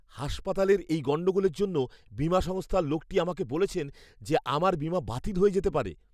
হাসপাতালের এই গণ্ডগোলের জন্য বীমা সংস্থার লোকটি আমাকে বলেছেন যে আমার বীমা বাতিল হয়ে যেতে পারে।